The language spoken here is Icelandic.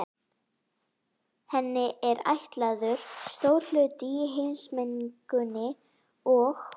Henni er ætlaður stór hlutur í heimsmenningunni og